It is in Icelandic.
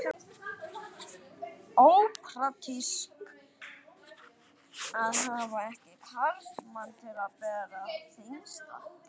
Ópraktískt að hafa ekki karlmann til að bera það þyngsta.